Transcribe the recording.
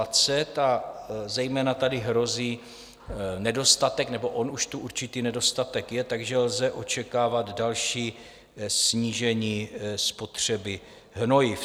A zejména tady hrozí nedostatek, nebo on už tu určitý nedostatek je, takže lze očekávat další snížení spotřeby hnojiv.